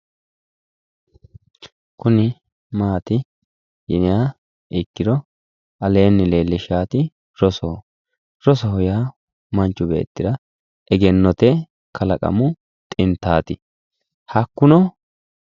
Kuni maati yiniha ikkiro aleenni leellishaati rosoho, rosoho yaa manchu beettira egennote kalaqamu xintaati hakkuno